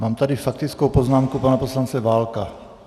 Mám tady faktickou poznámku pana poslance Válka.